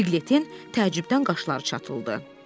Piqletin təəccübdən qaşları çatıldı.